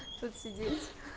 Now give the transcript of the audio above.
тут сидеть